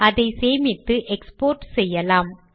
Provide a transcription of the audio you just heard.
அதை சேமித்து எக்ஸ்போர்ட் செய்யலாம்